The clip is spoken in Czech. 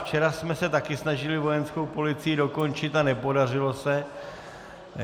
Včera jsme se taky snažili vojenskou policii dokončit a nepodařilo se.